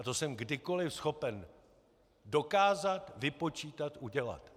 A to jsem kdykoliv schopen dokázat, vypočítat, udělat.